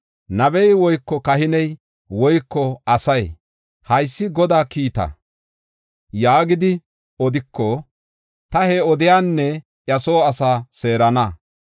“Nabey woyko kahiney woyko asay, ‘Haysi Godaa kiita’ yaagidi odiko, ta he addiyanne iya soo asaa seerana.